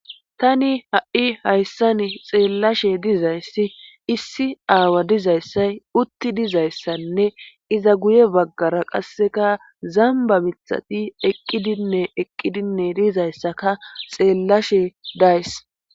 tani ha7i hayssan xeellashe dizayssi issi aawa dizayssay utti dizayssanne iza guye baggara qasseka zamba mithati eqqidinne eqqidinne diizayssaka xeellashe days